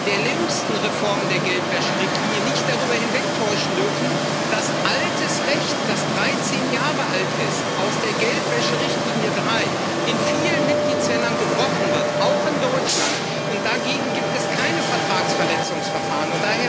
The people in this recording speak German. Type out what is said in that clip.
der jüngsten Reformen der Geldwäscherichtlinie nicht darüber hinwegtäuschen dürfen, dass altes Recht, das dreizehn Jahre alt ist aus der Geldwäscherichtlinie 3 in vielen Mitgliedstaaten gebrochen wird auch in Deutschland und dagegen gibt es keine Vertragsverletzungsverfahren.